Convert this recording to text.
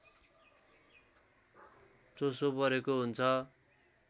चोसो परेको हुन्छ